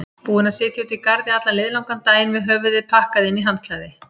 Búin að sitja úti í garði allan liðlangan daginn með höfuðið pakkað inn í handklæði.